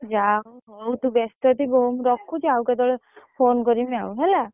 ଯାହା ହଉ ହଉ ତୁ ବ୍ୟସ୍ତ ଥିବୁ ହଉ ମୁଁ ରଖୁଛି ଆଉ କେତେବେଳେ phone କରିମି ଆଉ ହେଲା।